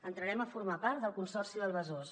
entrarem a for·mar part del consorci del besòs